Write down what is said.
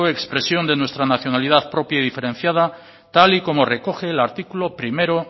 expresión de nuestra nacionalidad propia y diferenciada tal y como recoger el artículo primero